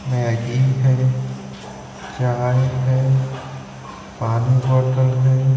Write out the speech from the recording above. Maggi है चाय है पानी बॉटल है।